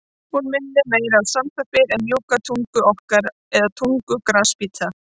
Hún minnir meira á sandpappír en mjúka tungu okkar eða tungu grasbíta.